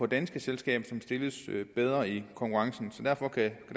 danske selskaber som stilles bedre i konkurrencen og derfor kan